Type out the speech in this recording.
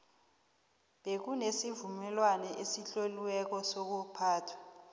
bekunesivumelwano esitloliweko sokuphathwa